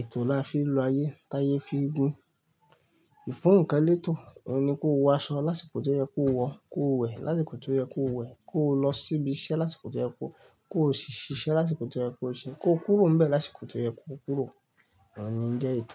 Ètò la fi lo ayé, t'ayé fi gùn. Ìfún ńkan lé ètò. Òun ni kó wọ aṣọ lásìkò tó yẹ kó wọ, kó wẹ̀ lásìkò tó yẹ kó wẹ̀, kó lọ sí ibi iṣẹ́ lásìkò tó yẹ kó lọ, kó ṣíṣẹ́ lásìkò tó yẹ kó ṣiṣẹ́, kó kúrò níbẹ̀ lásìkò tó yẹ kó kúrò. Òun ni ń jẹ́ ètò.